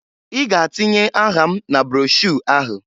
I ga-atinye aha m na broshuu ahụ!